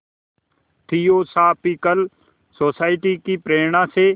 theosophical society की प्रेरणा से